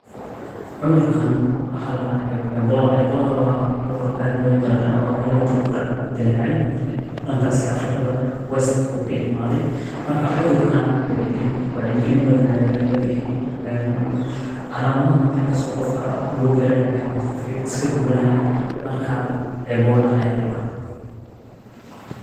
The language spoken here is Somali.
Cudurkaan waxaa ladahaa EBOLA, EBOLA waa cudur aad loo garanaayo oo hada kahoro dilaacay, dankaas iyo afrikada west ayuu ka imaaday, markaa cudurkaa wacyi gilin badan ayaa laga bixiyay. Calamadaha markaas qofka lagu garanaaye wexey eheed qofka iska guwanaayaa markaa EBOLA ayaa ladahaa.